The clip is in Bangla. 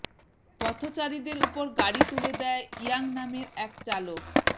পথচারীদের ওপর গাড়ি তুলে দেয় ইয়াং নামের এক চালক